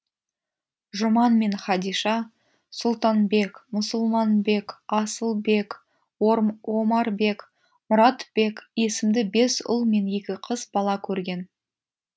жұман мен хадиша сұлтанбек мұсылманбек асылбек омарбек мұратбек есімді бес ұл мен екі қыз бала көрген